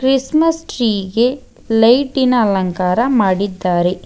Christmas tree ಗೆ ಲೈಟಿನ ಅಲಂಕಾರ ಮಾಡಿದ್ದಾರೆ.